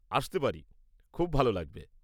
আসতে পারি!? খুব ভালো লাগবে।